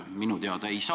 Minu teada ei saa.